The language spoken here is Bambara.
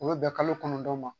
O be bɛ kalo kɔnɔntɔn ma.